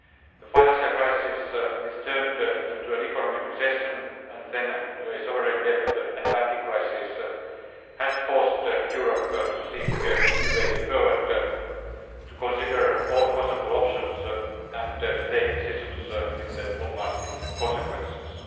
The financial crisis which turned into an economic recession and then into a sovereign debt and banking crisis has forced Europe to seek new ways forward, to consider all possible options and to take decisions with long lasting consequences.